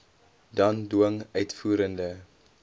dan dwing uitvoerende